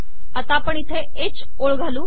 आता आपण इथे ह ओळ घालू